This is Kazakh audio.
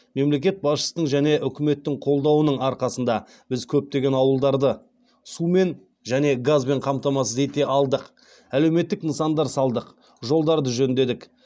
мемлекет басшысының және үкіметтің қолдауының арқасында біз көптеген ауылдарды сумен және газбен қамтамасыз ете алдық әлеуметтік нысандар салдық жолдарды жөндедік